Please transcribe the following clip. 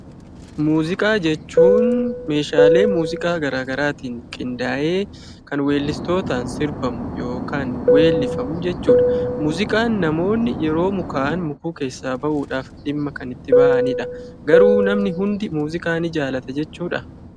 Muuziqaa jechuun meeshaalee muuziqaa gara garaatiin qindaa'ee kan weellistootaan sirbamu yookaan weellifamu jechuudha. Muuziqaan namoonni yeroo mukaa'an mukuu keessaa bahuudhaaf dhimma kan itti bahanidha. Garuu namni hundi muuziqaa ni jaallata jechuudha?